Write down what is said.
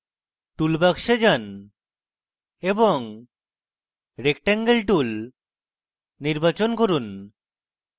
toolbox যান এবং rectangle tool নির্বাচন করুন